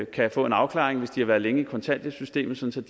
kan få en afklaring hvis de har været længe i kontanthjælpssystemet sådan